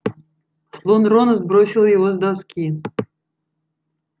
слон рона сбросил его с доски